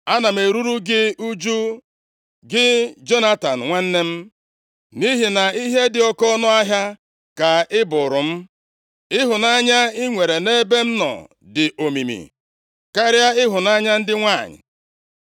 ana m eruru gị ụjụ, gị Jonatan, nwanne m nʼihi na ihe dị oke ọnụahịa ka ị bụụrụ m. Ịhụnanya + 1:26 \+xt 1Sa 18:1-4; 19:2; 20:17\+xt* i nwere nʼebe m nọ dị omimi karịa ịhụnanya ndị nwanyị.